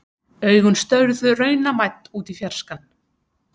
Augun störðu raunamædd út í fjarskann.